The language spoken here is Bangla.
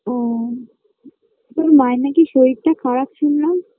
ও তোর মায়ের নাকি শরীরটা খারাপ শুনলাম